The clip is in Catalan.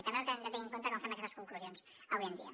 i també els hem de tenir en compte quan fem aquestes conclusions avui en dia